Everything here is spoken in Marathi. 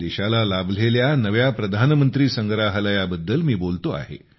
देशाला लाभलेल्या नव्या प्रधानमंत्री संग्रहालयाबद्दल मी बोलतो आहे